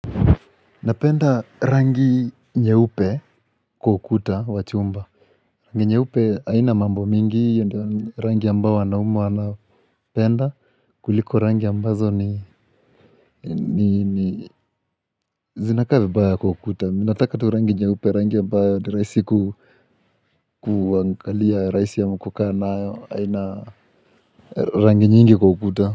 Napenda rangi nyeupe kwa ukuta wa chumba Rangi nyeupe aina mambo mingi ya ndani mambo ambayo wanaume wana penda kuliko rangi ambazo ni ni ni zinakaa vibaya kwa ukuta ninataka tu rangi nyeupe rangi ambayo ni rahisi ku kuangalia rahisi ama kukaa nayo haina rangi nyingi kwa ukuta.